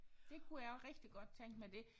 Det kunne jeg også rigtig godt tænke mig det